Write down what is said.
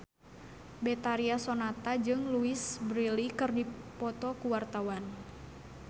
Betharia Sonata jeung Louise Brealey keur dipoto ku wartawan